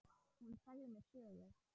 Hún sagði mér sögur.